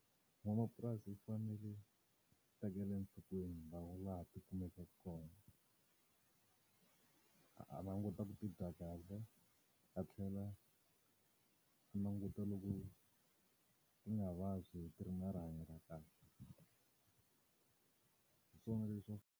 N'wamapurasi u fanele a tekela enhlokweni laha ti kumekaka kona. A languta ku ti dya kahle, a tlhela a languta loko ti nga vabyi ti ri na rihanyo ra kahle. Hi swona .